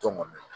Tɔn kɔni